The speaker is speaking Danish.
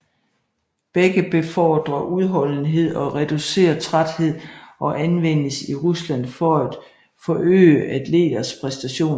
Begge befordrer udholdenhed og reducerer træthed og anvendes i Rusland for at forøge atleters præstationer